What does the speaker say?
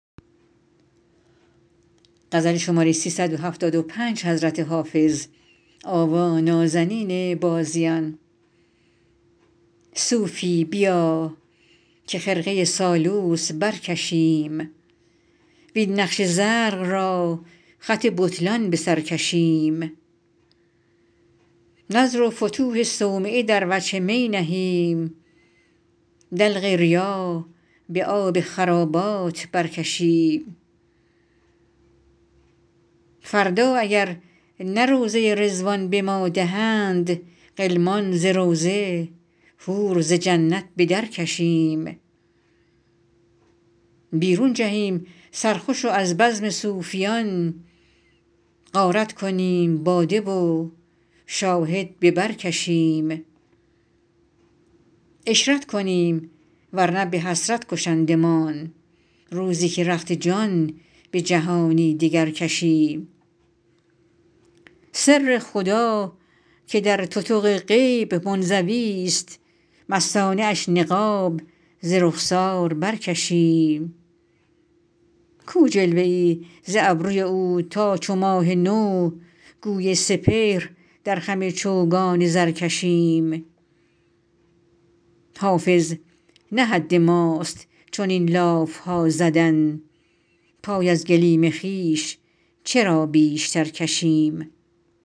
صوفی بیا که خرقه سالوس برکشیم وین نقش زرق را خط بطلان به سر کشیم نذر و فتوح صومعه در وجه می نهیم دلق ریا به آب خرابات برکشیم فردا اگر نه روضه رضوان به ما دهند غلمان ز روضه حور ز جنت به درکشیم بیرون جهیم سرخوش و از بزم صوفیان غارت کنیم باده و شاهد به بر کشیم عشرت کنیم ور نه به حسرت کشندمان روزی که رخت جان به جهانی دگر کشیم سر خدا که در تتق غیب منزویست مستانه اش نقاب ز رخسار برکشیم کو جلوه ای ز ابروی او تا چو ماه نو گوی سپهر در خم چوگان زر کشیم حافظ نه حد ماست چنین لاف ها زدن پای از گلیم خویش چرا بیشتر کشیم